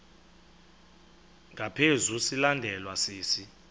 ngaphezu silandelwa sisi